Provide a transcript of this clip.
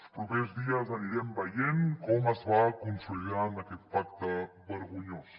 els propers dies anirem veient com es va consolidant aquest pacte vergonyós